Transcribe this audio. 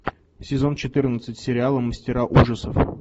сезон четырнадцать сериала мастера ужасов